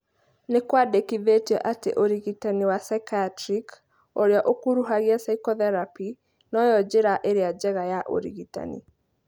Nĩkwendekithĩtio atĩ ũrigitani wa psychiatric ( ũrĩa ũkuruhagia psychotherapy) noyo njĩra ĩrĩa njega ya ũrigitani